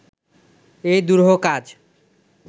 এই দুরূহ কাজ